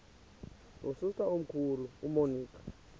nosister omkhulu umonica